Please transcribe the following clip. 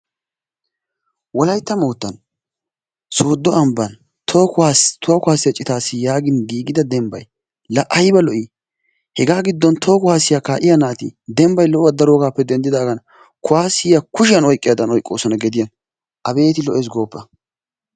Wolaytta moottan sooddo ambban toho kuwaasiyassa yaagin giigida dembbay laa ayba lo"ii? Hegaa giddon toho kuwaasiya kaa'iya naati dembbay lo'uwa daroogaappe denddidaagan kuwaasiya kushiyan oyqqiyadan oyqqoosona gediyan. Abeeti lo"ees gooppa.